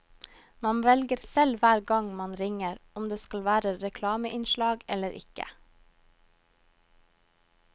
Man velger selv hver gang man ringer om det skal være reklameinnslag eller ikke.